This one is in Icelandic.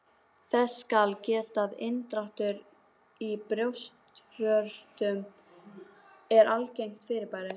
Þess skal getið að inndráttur í brjóstvörtum er algengt fyrirbæri.